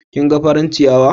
Kin gan faran a ciyawa?